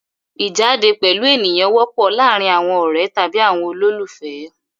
Ìjáde pẹ̀lú ènìyàn wọ́pọ̀ láàárin àwọn ọ̀rẹ́ tàbí àwọn olólùfẹ́.